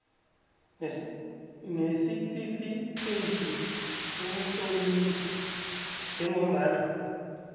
nesitifikeyiti sokutlolisa njengombana